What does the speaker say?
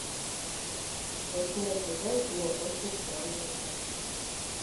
восьмой сезон кино очень странные дела